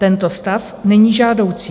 Tento stav není žádoucí.